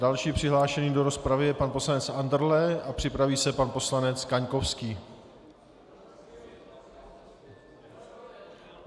Dalším přihlášeným do rozpravy je pan poslanec Andrle a připraví se pan poslanec Kaňkovský.